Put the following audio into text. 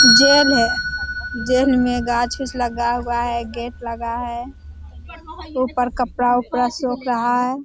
Jail है। Jail में गाछ-ऊछ लगा हुआ है। गेट लगा है। ऊपर कपड़ा-उपड़ा सुख रहा है।